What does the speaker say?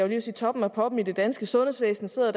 ved at sige toppen af poppen i det danske sundhedsvæsen sidder